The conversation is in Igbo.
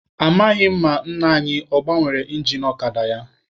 Amaghị m ma nna anyi ọ gbanwere ingin ọkada ya.